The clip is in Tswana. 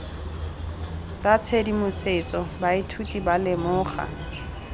tsa tshedimosetso baithuti ba lemoga